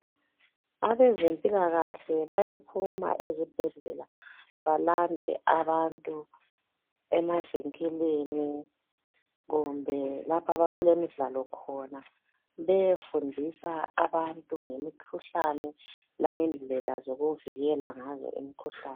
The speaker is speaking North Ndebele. Abezempilakahle bayaphuma ezibhedlela balande abantu emazinkilini kumbe lapho bakulemidlalo khona beyefundisa abantu ngemikhuhlane langendlela zokuvikela ngazo imikhuhlane